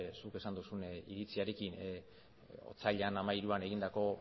zuk esan dozuen iritziarekin otsailaren hamairuan egindako